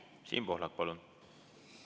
Siim Pohlak, palun!